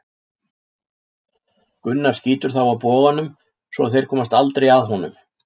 Gunnar skýtur þá af boganum svo að þeir komast aldrei að honum.